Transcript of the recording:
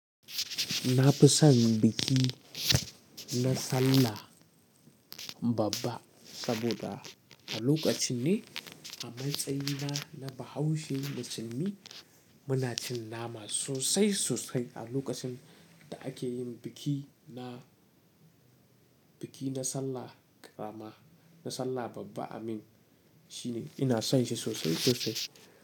Na fi son biki na Sallah Babba saboda a lokacin ne a matsayina na Bahaushe musulmi muna cin nama sosai sosai a lokacin da ake yin biki na, biki na Sallah Karama, na Sallah Babba amin. Shi ne ina son shi sosai sosai.